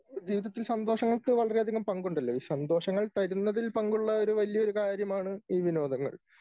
ജീവിതത്തിൽ സന്തോഷങ്ങൾക്ക് വളരെയധികം പങ്കുണ്ടല്ലോ? ഈ സന്തോഷങ്ങൾ തരുന്നതിൽ പങ്കുള്ള ഒരു വല്യ ഒരു കാര്യമാണ് ഈ വിനോദങ്ങൾ